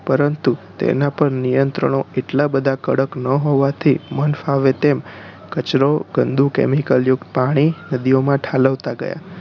પરંતુ તેના પર નિયંત્રણો એટલા બધા કડક ના હોવાથી મન ફાવે તેમ કચરો ગંદુ chemical યુક્ત પાણી નદીઓ માં ઠાલવતાં ગયા